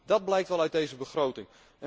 Dat blijkt wel uit deze begroting.